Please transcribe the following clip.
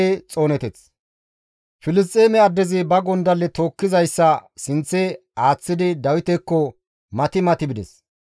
Filisxeeme addezi ba gondalle tookkizayssa sinththe aaththidi Dawitekko mati mati bides.